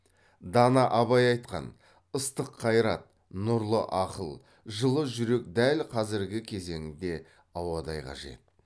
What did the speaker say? дана абай айтқан ыстық қайрат нұрлы ақыл жылы жүрек дәл қазіргі кезеңде ауадай қажет